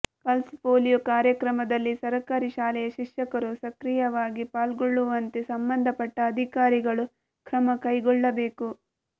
pulse polio ಕಾರ್ಯಕ್ರಮದಲ್ಲಿ ಸರಕಾರಿ ಶಾಲೆಯ ಶಿಕ್ಷಕರು ಸಕ್ರಿಯವಾಗಿ ಪಾಲ್ಗೊಳ್ಳುವಂತೆ ಸಂಬಂಧಪಟ್ಟ ಅಧಿಕಾರಿಗಳು ಕ್ರಮಕೈಗೊಳ್ಳಬೇಕು